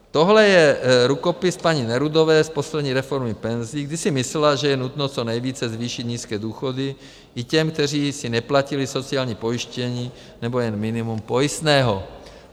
Tohle je rukopis paní Nerudové z poslední reformy penzí, kdy si myslela, že je nutno co nejvíce zvýšit nízké důchody i těm, kteří si neplatili sociální pojištění nebo jen minimum pojistného.